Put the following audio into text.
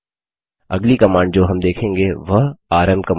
अगली कमांड जो हम देखेंगे वह आरएम कमांड है